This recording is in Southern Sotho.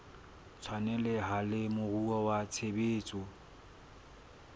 tshwaneleha le moruo wa tshebetso